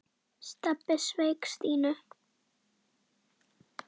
Stebbi sveik Stínu.